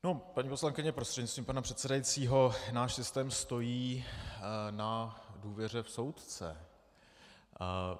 No, paní poslankyně prostřednictvím pana předsedajícího, náš systém stojí na důvěře v soudce.